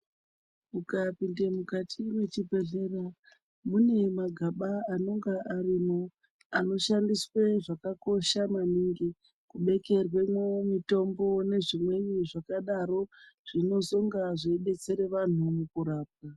Ukapinde mukati mechibhehlera mune magaba anonga arimwo anoshandiswe zvakakosha maningi kubekerwemwo mitombo nezvimweni zvakadaro zvinozonga zveidetsere vanhu mukurarama.